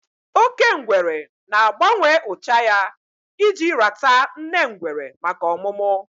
Oke ngwere na-agbanwe ụcha ahụ ya iji rata nne ngwere maka ọmụmụ